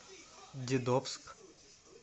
дедовск